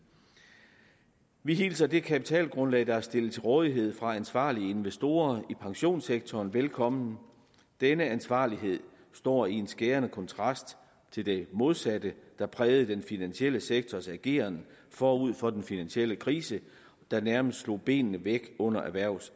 vi hilser det kapitalgrundlag der er stillet til rådighed fra ansvarlige investorer i pensionssektoren velkommen denne ansvarlighed står i skærende kontrast til det modsatte der prægede den finansielle sektors ageren forud for den finansielle krise der nærmest slog benene væk under erhvervs